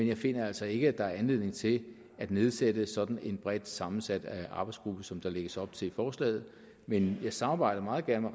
jeg finder altså ikke at der er anledning til at nedsætte sådan en bredt sammensat arbejdsgruppe som der lægges op til i forslaget men jeg samarbejder meget gerne